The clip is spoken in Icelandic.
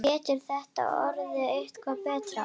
Getur þetta orðið eitthvað betra?